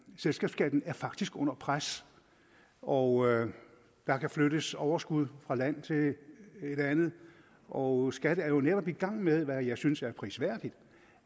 selskabsskatten er faktisk under pres og der kan flyttes overskud fra et land til et andet og skat er jo netop i gang med hvad jeg synes er prisværdigt